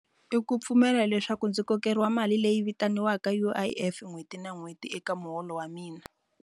I ku pfumela leswaku ndzi kokeriwi mali leyi vitaniwaka U_I_F n'hweti na n'hweti eka muholo wa mina.